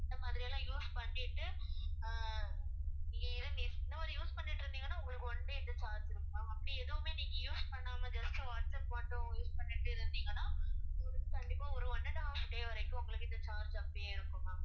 இந்த மாதிரியெல்லாம் use பண்ணிட்டு அஹ் நீங்க இத~ இந்த மாதிரி use பண்ணிட்டிருந்தீங்கன்னா உங்களுக்கு one day இந்த charge இருக்கும் ma'am அப்படி எதுவுமே நீங்க use பண்ணாம just வாட்ஸ்ஆப் மட்டும் use பண்ணிட்டு இருந்தீங்கன்னா உங்களுக்கு கண்டிப்பா ஒரு one and a half day வரைக்கும் உங்களுக்கு இந்த charge அப்படியே இருக்கும் ma'am